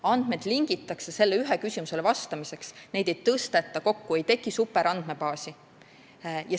Andmed lingitakse sellele ühele küsimusele vastamiseks, neid ei tõsteta kokku, ei teki superandmebaasi.